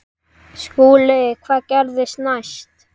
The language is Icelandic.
SKÚLI: Hvað gerðist næst?